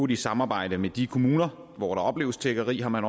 i samarbejde med de kommuner hvor der opleves tiggeri har man